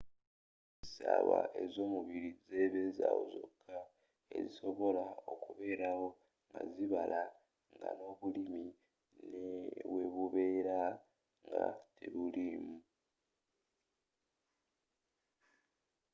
essaawa ezomubiri zebezaawo zokka ezisobola okubeerawo nga zibala nga n'obulimi newebubera nga tebuliimu